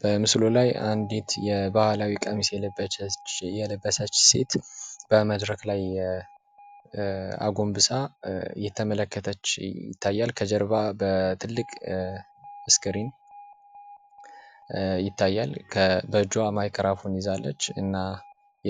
በምስሉ ላይ አንዲት የባህላዊ ቀሚስ የለበሰች ሴት በመድረክ ላይ አጎንብሳ እየተመለከተች ይታያል ከጀርባ በትልቅ እስክሪን ይታያል በእጇ ማይክራፎን ይዛለች እና